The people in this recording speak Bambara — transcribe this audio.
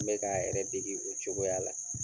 N bɛ k'a yɛrɛ degi o cogoya la.